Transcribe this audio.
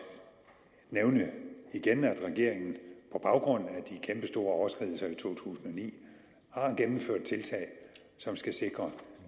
igen nævne at regeringen på baggrund af de kæmpestore overskridelser i to tusind og ni har gennemført tiltag som skal sikre